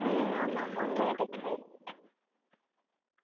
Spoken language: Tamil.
ஹம் ஆமா one minute extra ஆயிடுச்சு